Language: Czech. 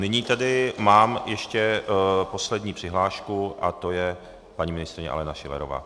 Nyní tedy mám ještě poslední přihlášku a to je paní ministryně Alena Schillerová.